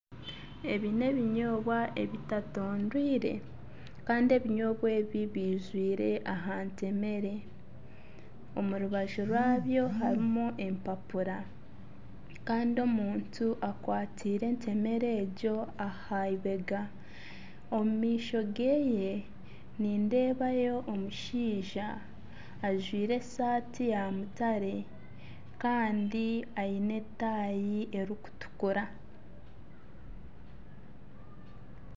Ebi n'ebinyoobwa ebitatondwiire Kandi ebinyoobwa ebi bijwiire aha ntemere omurubaju rwaabyo harimu empapura Kandi omuntu akwatsire entemere egyo ahaibega omumaisho geye nindeebayo omushaija ajwaire esaati ya mutare Kandi aine etaayi erikutukura .